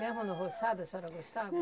Mesmo no roçado a senhora gostava?